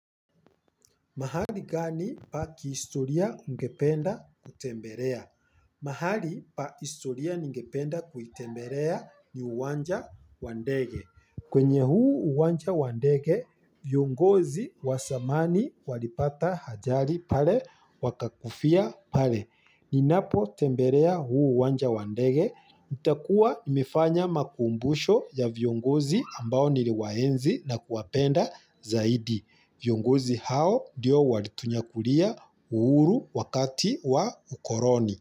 Mahali gani pa kihistoria ungependa kutemberea? Mahali pa historia ningependa kuitemberea ni uwanja wa ndege. Kwenye huu uwanja wa ndege, viongozi wa samani walipata hajali pale wakakufia pale. Ninapotemberea huu uwanja wa ndege, nitakuwa nimefanya makumbusho ya viongozi ambao niriwaenzi na kuwapenda zaidi. Viongozi hao ndio walitunyakulia uhuru wakati wa ukoroni.